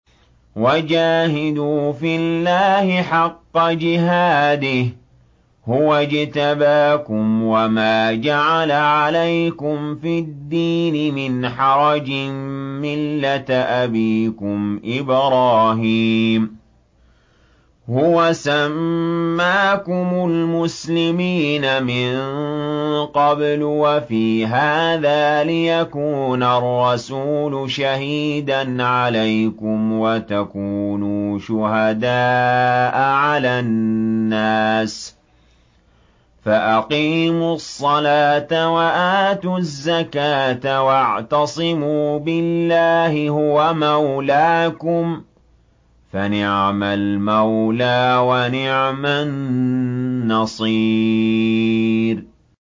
وَجَاهِدُوا فِي اللَّهِ حَقَّ جِهَادِهِ ۚ هُوَ اجْتَبَاكُمْ وَمَا جَعَلَ عَلَيْكُمْ فِي الدِّينِ مِنْ حَرَجٍ ۚ مِّلَّةَ أَبِيكُمْ إِبْرَاهِيمَ ۚ هُوَ سَمَّاكُمُ الْمُسْلِمِينَ مِن قَبْلُ وَفِي هَٰذَا لِيَكُونَ الرَّسُولُ شَهِيدًا عَلَيْكُمْ وَتَكُونُوا شُهَدَاءَ عَلَى النَّاسِ ۚ فَأَقِيمُوا الصَّلَاةَ وَآتُوا الزَّكَاةَ وَاعْتَصِمُوا بِاللَّهِ هُوَ مَوْلَاكُمْ ۖ فَنِعْمَ الْمَوْلَىٰ وَنِعْمَ النَّصِيرُ